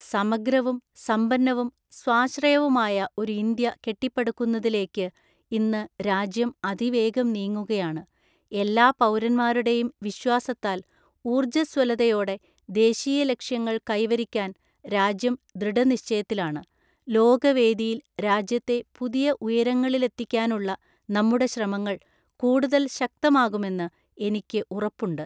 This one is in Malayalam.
സമഗ്രവും സമ്പന്നവും സ്വാശ്രയവുമായ ഒരു ഇന്ത്യ കെട്ടിപ്പടുക്കുന്നതിലേക്ക് ഇന്ന് രാജ്യം അതിവേഗം നീങ്ങുകയാണ് എല്ലാ പൗരന്മാരുടെയും വിശ്വാസത്താൽ ഊര്‍ജ്ജസ്വലതയോടെ, ദേശീയ ലക്ഷ്യങ്ങൾ കൈവരിക്കാൻ രാജ്യം ദൃഢനിശ്ചയത്തിലാണ്, ലോക വേദിയിൽ രാജ്യത്തെ പുതിയ ഉയരങ്ങളിലെത്തിക്കാനുള്ള നമ്മുടെ ശ്രമങ്ങൾ കൂടുതൽ ശക്തമാകുമെന്ന് എനിക്ക് ഉറപ്പുണ്ട്.